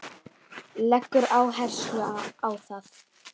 Leggur áherslu á það.